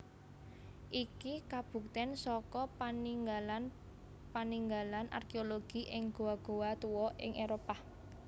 Iki kabuktén saka paninggalan paninggalan arkéologi ing goa goa tuwa ing Éropah